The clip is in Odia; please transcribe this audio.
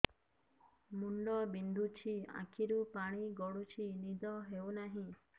ମୁଣ୍ଡ ବିନ୍ଧୁଛି ଆଖିରୁ ପାଣି ଗଡୁଛି ନିଦ ହେଉନାହିଁ